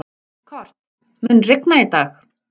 Kort, mun rigna í dag?